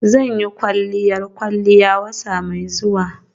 Zan yi kwalliyar kwalliya wata mai zuwa.